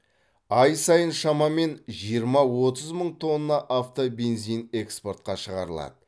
ай сайын шамамен жиырма отыз мың тонна автобензин экспортқа шығарылады